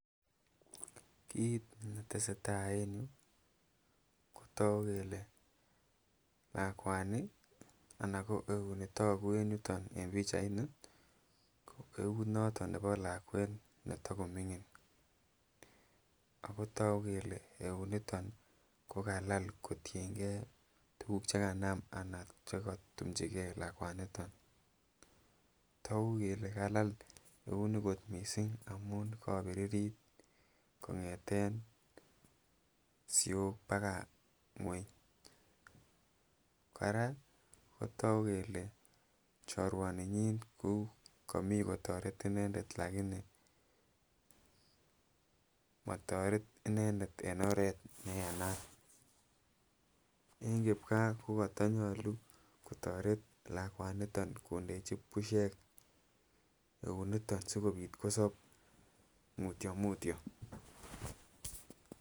Kit netesee taa en yu kotogu kele lakwani anan ko euini togu en yuton en pichaini ko euit noton nebo lakwet netokomingin okotogu kele euiniton kokalal kotiengee tuguk chekanam anan chekotumchigee lakwanito togu kele kalal eunit kot misink amun kobiritit kongeten siok bakaa ngweny, koraa kotogu kele choruaninyin ko komi kotoret inendet lakini motoret inendet en oret neyamaat en kipkaa kokotonyolu kotoret lakwaniton kontechi busiek eunito sikobit kosob mutiomutio.